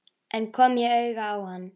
En kom ég auga á hann?